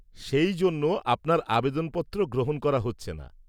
সেই জন্য আপনার আবেদনপত্র গ্রহণ করা হচ্ছে না।